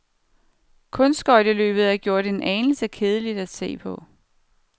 Kunstskøjteløbet er gjort en anelse kedeligere at se på.